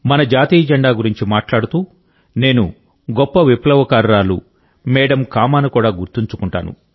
మన జాతీయ జెండా గురించి మాట్లాడుతూ నేను గొప్ప విప్లవకారురాలు మేడమ్ కామాను కూడా గుర్తుంచుకుంటాను